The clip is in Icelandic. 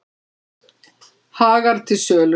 Hagar til sölu